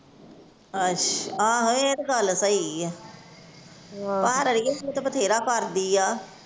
ਅੱਛਾ, ਆਹੋ ਇਹ ਤੇ ਗੱਲ ਸਹੀ ਏ ਪਰ ਏਹ ਤੇ ਬਥੇਰਾ ਕਰਦੀ ਆ।